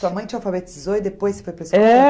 Sua mãe te alfabetizou e depois você... É